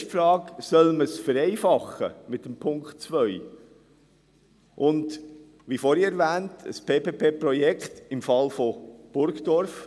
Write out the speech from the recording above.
Die Motion basiert auf der Vergangenheit des Projekts in Burgdorf.